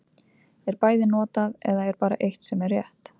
Er bæði notað, eða er bara eitt sem er rétt.